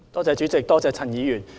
主席，多謝陳議員。